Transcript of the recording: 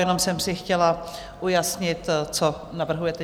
Jenom jsem si chtěla ujasnit, co navrhujete.